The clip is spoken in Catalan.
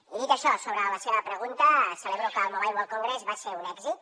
i dit això sobre la seva pregunta celebro que el mobile world congress fos un èxit